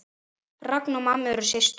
Ragna og mamma eru systur.